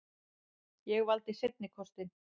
Ég valdi seinni kostinn.